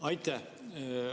Aitäh!